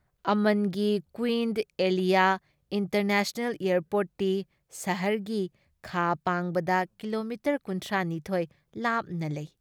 ꯑꯃꯟꯒꯤ ꯀꯨꯏꯟ ꯑꯦꯂꯤꯌꯥ ꯏꯟꯇꯔꯅꯦꯁꯅꯦꯜ ꯑꯦꯌꯔꯄꯣꯔꯠꯇꯤ ꯁꯍꯔꯒꯤ ꯈꯥ ꯄꯥꯡꯕꯗ ꯀꯤꯂꯣꯃꯤꯇꯔ ꯀꯨꯟꯊ꯭ꯔꯥ ꯅꯤꯊꯣꯏ ꯂꯥꯞꯅ ꯂꯩ ꯫